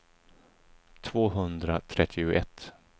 tvåhundratrettioett